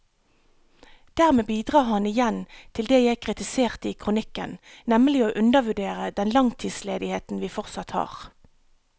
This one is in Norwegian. Dermed bidrar han igjen til det jeg kritiserte i kronikken, nemlig å undervurdere den langtidsledigheten vi fortsatt har.